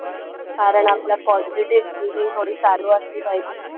कारण आपला positive thinking थोडी चालू असली पाहिजे.